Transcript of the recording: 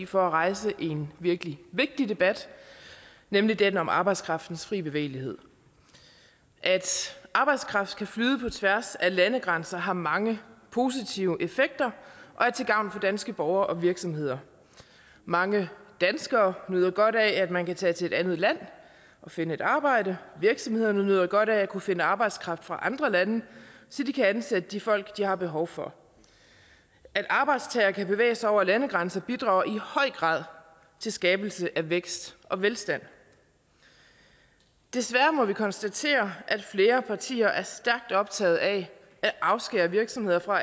for at rejse en virkelig vigtig debat nemlig den om arbejdskraftens frie bevægelighed at arbejdskraft kan flyde på tværs af landegrænser har mange positive effekter og er til gavn for danske borgere og virksomheder mange danskere nyder godt af at man kan tage til et andet land og finde et arbejde virksomhederne nyder godt af at kunne finde arbejdskraft fra andre lande så de kan ansætte de folk de har behov for at arbejdstagere kan bevæge sig over landegrænser bidrager i høj grad til skabelse af vækst og velstand desværre må vi konstatere at flere partier er stærkt optaget af at afskære virksomheder fra